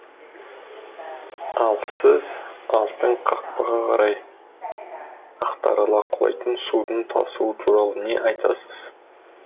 ал сіз алтын қақпаға қарай ақтарыла құлайтын судың тасуы туралы не айтасыз